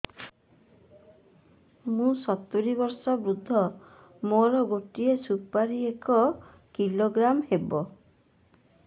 ମୁଁ ସତୂରୀ ବର୍ଷ ବୃଦ୍ଧ ମୋ ଗୋଟେ ସୁପାରି ଏକ କିଲୋଗ୍ରାମ ହେବ